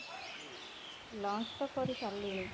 lunch ତ କରିସାରିଲିଣି